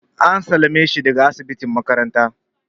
An sallame shi daga asibitin makaranta.